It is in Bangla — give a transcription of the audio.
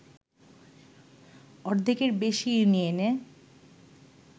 অর্ধেকের বেশি ইউনিয়নে